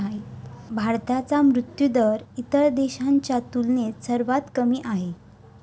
भारताचा मृत्यूदर इतर देशांच्या तुलनेत सर्वात कमी आहे.